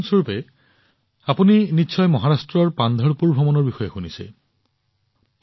উদাহৰণ স্বৰূপে আপুনি নিশ্চয় মহাৰাষ্ট্ৰৰ পান্ধৰপুৰ ভ্ৰমণৰ বিষয়ে শুনিছে